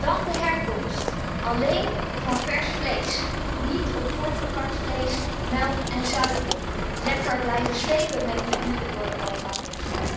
Dan de herkomst alleen van vers vlees, niet op voorverpakt vlees, melk en zuivel. Lekker blijven slepen met die dieren door Europa, dus.